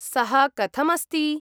सः कथम् अस्ति?